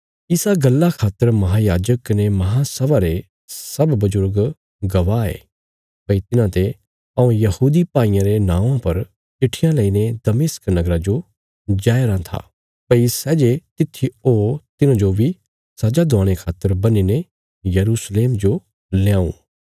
इस गल्ला खातर महायाजक कने महांसभा रे सब बजुर्ग गवाह ये भई तिन्हांते हऊँ यहूदी भाईयां रे नौआं पर चिट्ठियां लईने दमिश्क नगरा जो जाया राँ था भई सै जे तित्थी हो तिन्हांजो बी सजा दिलाणे खातर बन्हीने यरूशलेम जो ल्याऊं